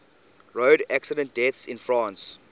road accident deaths in france